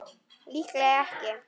Líklega ekki.